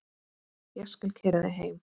Ég skal keyra þig heim.